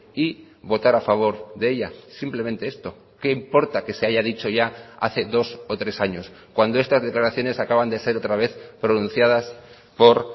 y votar a favor de ella simplemente esto qué importa que se haya dicho ya hace dos o tres años cuando estas declaraciones acaban de ser otra vez pronunciadas por